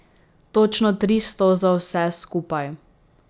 Točno tristo za vse skupaj.